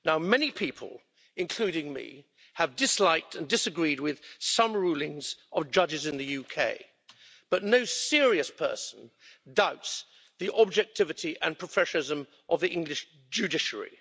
Many people, including me, have disliked and disagreed with some rulings of judges in the UK, but no serious person doubts the objectivity and professionalism of the English judiciary.